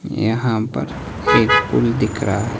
यहां पर एक पुल दिख रहा--